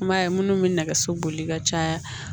I m'a ye minnu bɛ nɛgɛso boli ka caya